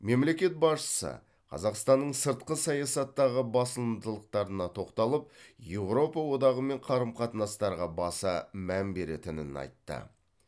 мемлекет басшысы қазақстанның сыртқы саясаттағы басымдықтарына тоқталып еуропа одағымен қарым қатынастарға баса мән беретінін айтты